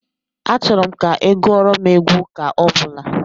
Achọrọ m ka ị gụọrọ m egwu ụka ọbụla